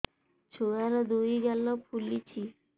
ଛୁଆର୍ ଦୁଇ ଗାଲ ଫୁଲିଚି